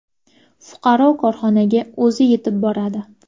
Fuqaro korxonaga o‘zi yetib boradi.